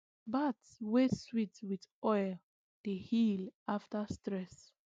bath wey sweet with oil dey heal after stress